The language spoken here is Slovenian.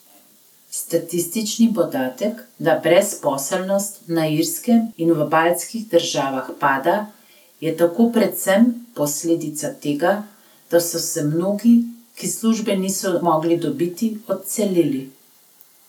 Statistični podatek, da brezposelnost na Irskem in v baltskih državah pada, je tako predvsem posledica tega, da so se mnogi, ki službe niso mogli dobiti, odselili.